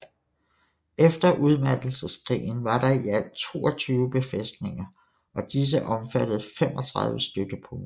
Efter Udmattelseskrigen var der i alt 22 befæstninger og disse omfattede 35 støttepunkter